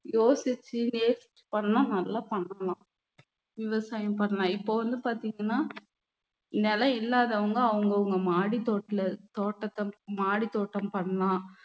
யோசிச்சுநேசிச்சு பண்ணா நல்லா பண்ணலாம் விவசாயம் பண்ணலாம் இப்போ வந்து பார்த்தீங்கன்னா நிலம் இல்லாதவங்க அவங்கவங்க மாடித்தோட்ல~ தோட்டத்தை மாடித்தோட்டம் பண்ணலாம்